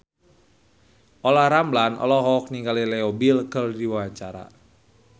Olla Ramlan olohok ningali Leo Bill keur diwawancara